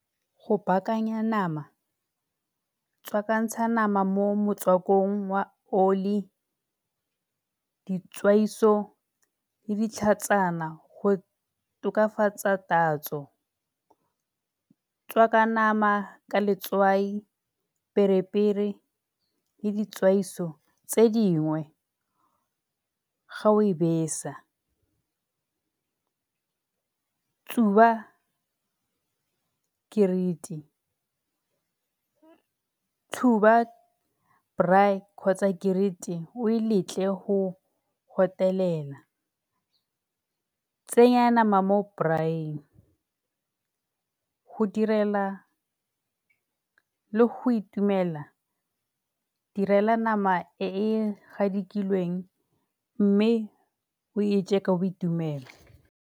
Go baakanya nama tswakantsha nama mo motswakong, oli, ditswaiso, le ditlhatsana go tokafatsa tatso. Tswaka nama ka letswai, perepere, le ditswaiso tse dingwe ga o e besa. Tsuba , tshuba braai kgotsa o e letle go . Tsenya nama mo braai-ing go direla le go itumela, direla nama e e gadikilweng mme o e je ka boitumelo.